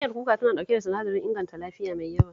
Miyar kuka tana ɗauke da sinadarin inganta lafiya mai yawa